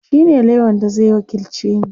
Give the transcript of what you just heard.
shine lauyan da Zai wakilce ni